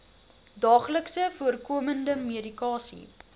daagliks voorkomende medikasie